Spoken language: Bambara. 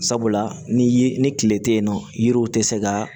Sabula ni ye ni tile te yen nɔ yiriw tɛ se ka